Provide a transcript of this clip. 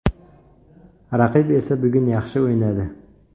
Raqib esa bugun yaxshi o‘ynadi.